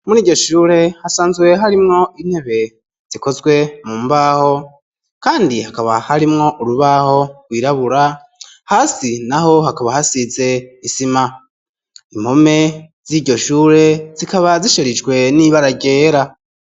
Muri iryo shure hasanzwe harimwo intebe zikozwe mu mbaho kandi hakaba harimwo urubaho gwirabura hasi naho hakaba hasize isima impome z'iryo shure zikaba zisharijwe n'ibara ryera.